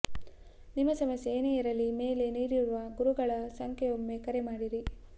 ನಿಮ್ಮ ಸಮಸ್ಯೆ ಏನೇ ಇರಲಿ ಮೇಲೆ ನೀಡಿರುವ ಗುರುಗಳ ಸಂಖ್ಯೆ ಒಮ್ಮೆ ಕರೆ ಮಾಡಿರಿ